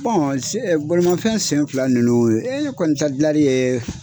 balimafɛn sen fila de don, e kɔni ta gilanni ye